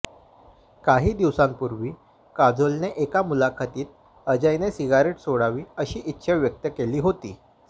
काही दिवसांपूर्वी काजोलने एका मुलाखतीत अजयने सिगारेट सोडावी अशी इच्छा व्यक्त केली होती